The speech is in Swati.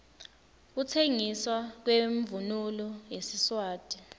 kutsengiswa kwemvunulo yesiswati